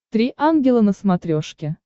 три ангела на смотрешке